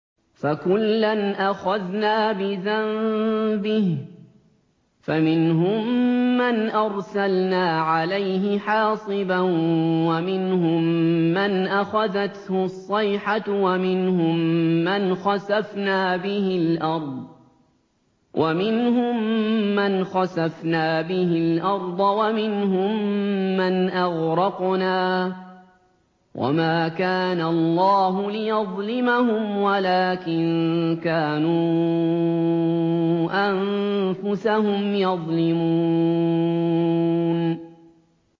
فَكُلًّا أَخَذْنَا بِذَنبِهِ ۖ فَمِنْهُم مَّنْ أَرْسَلْنَا عَلَيْهِ حَاصِبًا وَمِنْهُم مَّنْ أَخَذَتْهُ الصَّيْحَةُ وَمِنْهُم مَّنْ خَسَفْنَا بِهِ الْأَرْضَ وَمِنْهُم مَّنْ أَغْرَقْنَا ۚ وَمَا كَانَ اللَّهُ لِيَظْلِمَهُمْ وَلَٰكِن كَانُوا أَنفُسَهُمْ يَظْلِمُونَ